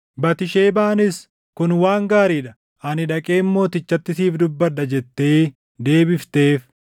Batisheebaanis, “Kun waan gaarii dha! Ani dhaqeen mootichatti siif dubbadha” jettee deebifteef.